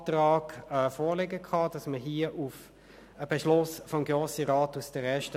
Ich hoffe, dass dies auch in Ihrem Sinn ist.